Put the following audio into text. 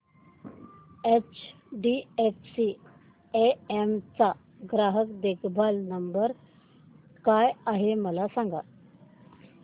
HDFC AMC चा ग्राहक देखभाल नंबर काय आहे मला सांग